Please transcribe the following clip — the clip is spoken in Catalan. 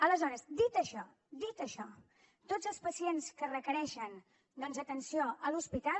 aleshores dit això dit això tots els pacients que requereixen doncs atenció a l’hospital